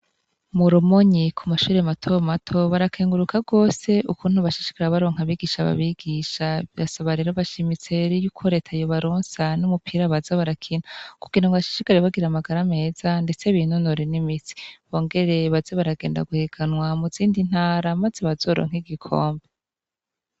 Mu Rumonyi ku mashure mato mato barakenguruka gose ukuntu bashishikara baronka abigisha n'abigisha. Basaba rero bashimitse yuko leta yobaronsa n'umupira baza barakina, kugira ngo bashishikare bagira amagara meza ndetse binonore n'imitsi, bongere baze baragenda guhiganwa mu zindi ntara maze bazoronke igikombe.